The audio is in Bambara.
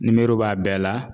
b'a bɛɛ la